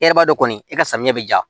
E yɛrɛ b'a dɔn kɔni i ka samiya bi ja